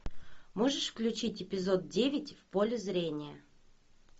можешь включить эпизод девять в поле зрения